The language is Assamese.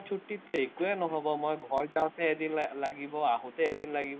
ছুটিততো একোৱে নহব, মই ঘৰ যাওঁতে এদিন লাগিব, আহোঁতে এদিন লাগিব,